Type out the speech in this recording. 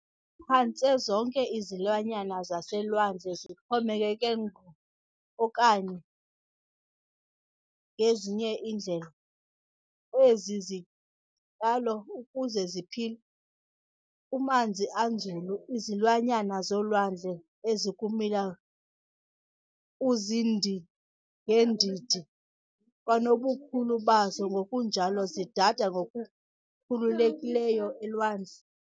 Phantse zonke izilwanyana zaselwandle zixhomekeke ngqo okanye ngezinye iindlela kwezi zityalo ukuze ziphile. Kumanzi anzulu, izilwanyana zolwandle ezikumila kuziindi-ngeendidi kwanobukhulu bazo ngokunjalo zidada ngokukhululekileyo elwandle.